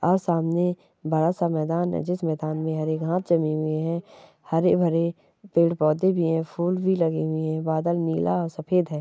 आ सामने बड़ा सा मैदान है जिस मैदान में हरे घाँस जमी हुई है हरे भरे पेड़ पौधे भी हैं फूल भी लगे हुए है बादल नीला और सफेद हैं ।